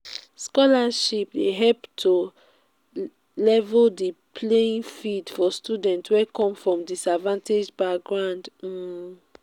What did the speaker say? scholarships dey help to level di playing field for students wey come from disadvanged backgrounds. um